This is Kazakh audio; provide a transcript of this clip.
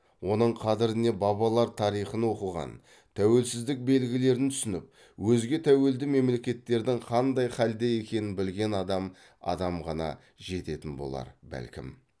оның қадіріне бабалар тарихын оқыған тәуелсіздік белгілерін түсініп өзге тәуелді мемлекеттердің қандай халде екенін білген адам адам ғана жететін болар бәлкім